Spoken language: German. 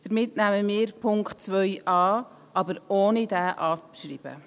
Damit nehmen wir Punkt 2 an, aber ohne in abzuschreiben.